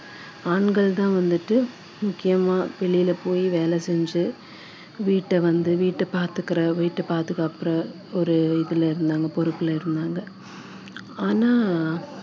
ஆண்கள் தான் வந்துட்டு முக்கியமா வெளியில போய் வேலை செஞ்சு வீட்டை வந்து வீட்டை பாத்துக்குற வீட்டை பாதுகாக்கிற ஒரு இதுல இருந்தாங்க பொறுப்புல இருந்தாங்க ஆனா